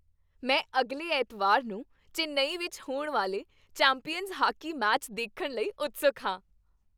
ਮੈਂ ਅਗਲੇ ਐਤਵਾਰ ਨੂੰ ਚੇਨੱਈ ਵਿੱਚ ਹੋਣ ਵਾਲੇ ਚੈਂਪੀਅਨਜ਼ ਹਾਕੀ ਮੈਚ ਦੇਖਣ ਲਈ ਉਤਸੁਕ ਹਾਂ।